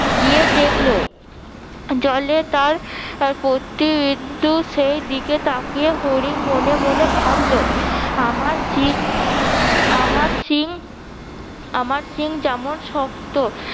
গিয়ে দেখলো জলে তার প্রতিইন্দু সেই দিকে তাকিয়ে হরিণ মনে মনে ভাবলো আমার সিং আমার সিং, আমার সিং যেমন শক্ত